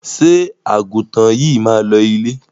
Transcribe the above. Ṣé àgùntàn yìí máa lọ ilé?